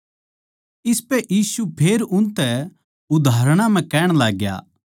इसपै यीशु फेर उनतै उदाहरणां म्ह कहण लाग्या